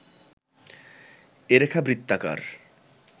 এ রেখা বৃত্তাকার